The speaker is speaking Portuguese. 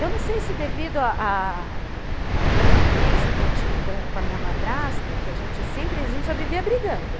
Eu não sei se devido à à convivência que eu tinha com a minha madrasta, que a gente sempre, a gente só vivia brigando.